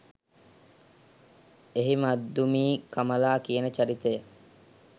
එහි මද්දුමී කමලා කියන චරිතය